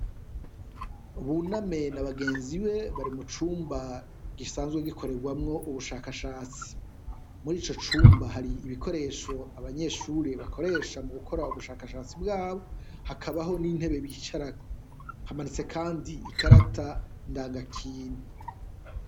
Buname n'abagenzi be bari mu cumba gisanzwe gikorerwamwo ubushakashatsi, muri ico cumba hari ibikoresho abanyeshure bakoresha mu gukora ubushakashatsi bwabo, hakabaho n'intebe bicarako, hamanitse kandi ikarata ndanga kintu.